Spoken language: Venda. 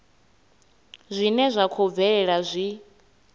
zwine zwa khou bvelela zwi